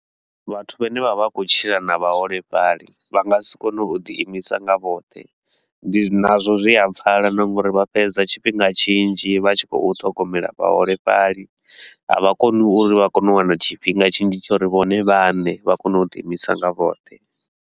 Vhathu vhane vha vha khou tshila na vhaholefhali vha nga si kone u ḓi imisa nga vhoṱhe, ndi zwi nazwo zwi a pfala na nga uri vha fhedza tshifhinga tshinzhi vha tshi khou ṱhogomela vhaholefhali, a vha koni uri vha kone u wana tshifhinga tshinzhi tsha uri vhone vhane vha kone u ḓi imisa nga vhoṱhe.